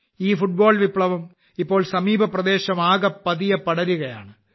ഈ ഫുട്ബോൾ വിപ്ലവം ഇപ്പോൾ സമീപപ്രദേശമാകെ പതിയെ പടരുകയാണ്